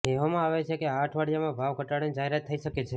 કહેવામાં આવે છે કે આ અઠવાડિયામાં ભાવ ઘટાડાની જાહેરાત થઇ શકે છે